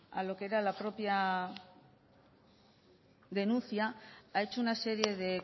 a lo que era la propia denuncia ha hecho una serie de